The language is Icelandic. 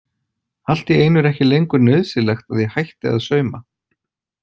Allt í einu er ekki lengur nauðsynlegt að ég hætti að sauma.